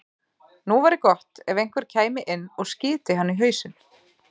Nú væri gott ef einhver kæmi inn og skyti hann í hausinn.